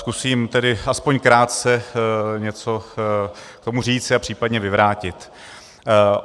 Zkusím tedy aspoň krátce něco k tomu říct a případně vyvrátit.